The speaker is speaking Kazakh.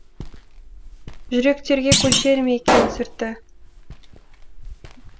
жүректерге көшер ме екен сүрті